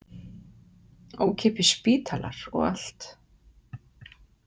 Ókeypis spítalar og allt.